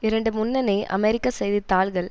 இரண்டு முன்னணி அமெரிக்க செய்தி தாள்கள்